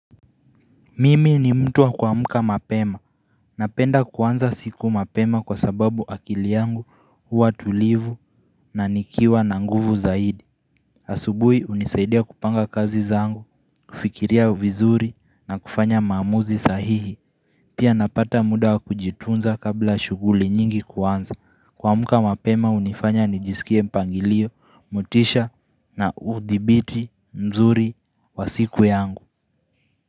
Mimi ni mtu wa kuamka mapema. Napenda kuanza siku mapema kwa sababu akili yangu uwa tulivu na nikiwa na nguvu zaidi. Asubui unisaidia kupanga kazi zangu, kufikiria vizuri na kufanya mamuzi sahihi. Pia napata muda wa kujitunza kabla shuguli nyingi kuanza. Kuamka mapema unifanya nijisikie mpangilio, mutisha na udhibiti mzuri wa siku yangu.